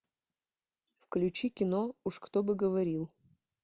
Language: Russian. включи кино уж кто бы говорил